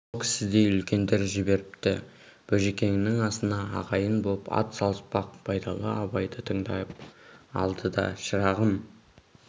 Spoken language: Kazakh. сол кісідей үлкендер жіберіпті бөжекеңнің асына ағайын боп ат салыспақ байдалы абайды тыңдап алды да шырағым